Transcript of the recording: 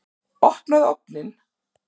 Opnaðu ofninn!